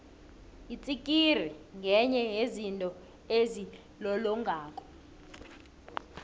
itsikiri ngenye yezinto ezilolongako